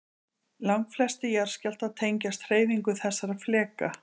Langflestir jarðskjálftar tengjast hreyfingum þessara fleka.